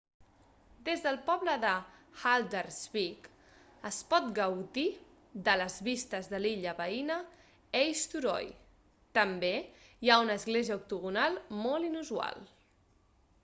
des del poble de haldarsvík es pot gaudir de les vistes de l'illa veïna eysturoy. també hi ha una església octogonal molt inusual